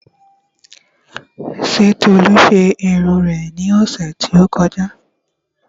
Ṣé olú ṣe irun rẹ ní ọ̀sẹ̀ tí ó kọjá?